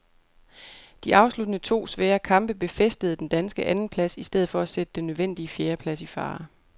De afsluttende to svære kamp befæstede den danske andenplads i stedet for at sætte den nødvendige fjerdeplads i fare.